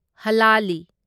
ꯍꯂꯥꯂꯤ